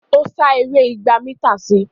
Ó sá eré igba mításìì.